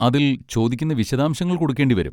അതിൽ ചോദിക്കുന്ന വിശദാംശങ്ങൾ കൊടുക്കേണ്ടി വരും.